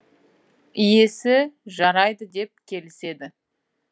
иесі жарайды деп келіседі